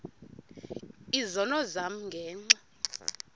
izono zam ngenxa